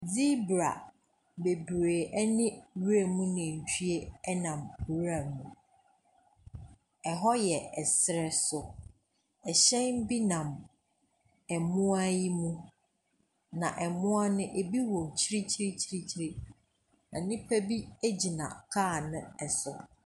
Zebra bebree ne nwuram nantwie nam nwura mu. Ɛhɔ yɛ serɛ so. Hyɛn bi nam mmoa yi mu, na mmoa no ebi wɔ akyirikyirikyirikyiri, na nipa bi gyina kaa no so.